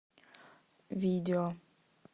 видео